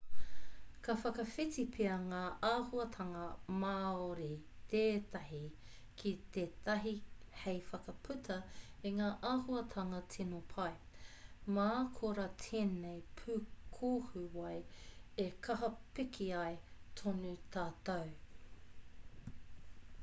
ka whakawhiti pea ngā āhuatanga māori tētahi ki tētahi hei whakaputa i ngā āhuatanga tino pai mā korā tēnei pūkohu wai e kaha piki ai tōna tatau